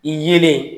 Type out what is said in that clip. I yelen